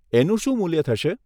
એનું શું મૂલ્ય થશે?